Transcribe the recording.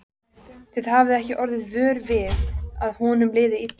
Þið hafið ekki orðið vör við að honum liði illa?